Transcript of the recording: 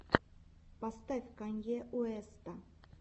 поставь канье уэста